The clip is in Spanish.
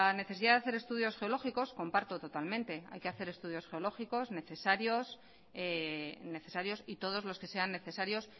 necesidad de hacer estudios geológicos comparto totalmente hay que hacer estudios geológicos necesarios y todos los que sean necesarios